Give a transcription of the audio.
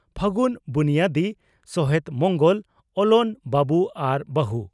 ᱯᱷᱟᱹᱜᱩᱱ ᱵᱩᱱᱭᱟᱹᱫᱤ ᱥᱚᱦᱮᱛ ᱢᱚᱝᱜᱚᱞ (ᱚᱞᱚᱱ) ᱵᱟᱵᱩ ᱟᱨ ᱵᱟᱹ ᱦᱩ